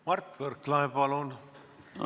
Mart Võrklaev, palun!